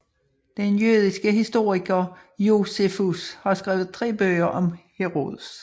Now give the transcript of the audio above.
Den jødiske historiker Josefus har skrevet tre bøger om Herodes